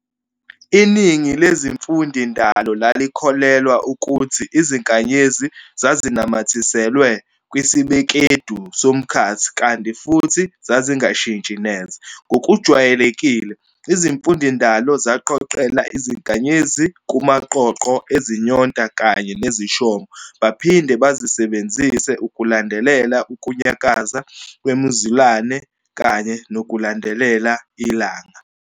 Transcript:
Iningi lezimfundindalo lalikholelwa ukuthi izinkanyezi zazinamathiselwe kwisibekedu somkhathi kanti futhi zazingashintshi neze. Ngokujwayelekile, izimfundindalo zaqoqela izinkanyezi kumaqoqo ezinyonta kanye nezishomo baphinde bazisebenzise ukulandelela ukunyakaza kwemizulane kanye nokulandelela ilanga.